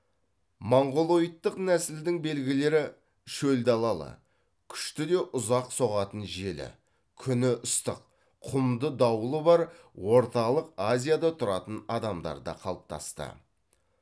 монғолоидтық нәсілдің белгілері шөл далалы күшті де ұзақ соғатын желі күні ыстық құмды дауылы бар орталық азияда тұратын адамдарда қалыптасты